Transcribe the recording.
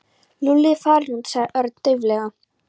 Lúlli er farinn út sagði Örn dauflega.